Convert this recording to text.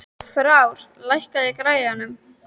Frár, lækkaðu í græjunum.